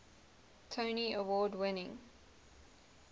tony award winning